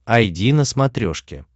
айди на смотрешке